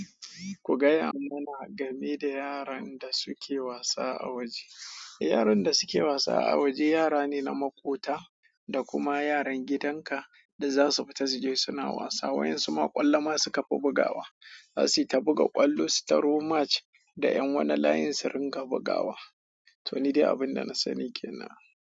Ku gaya mana game da yaran da suke wasa a waje. Yaran da suke wasa a waje yara ne na maƙota da kuma yaran gidan ka da za su fita su je suna wasa. Wayensu ma kwallo suka fi bugawa. Za su yi ta buga ƙwallo, su taro match da yan wani layin su ringa bugawa. To, ni dai abin da na sani ke nan.